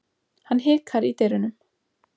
Hann hikar í dyrunum.